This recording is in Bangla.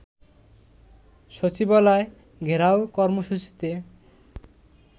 সচিবালয় ঘেরাও কর্মসূচিতে